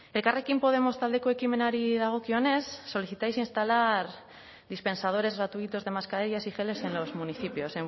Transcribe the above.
ekarrekin podemos taldeko ekimenari dagokionez solicitáis instalar dispensadores gratuitos de mascarillas y geles en los municipios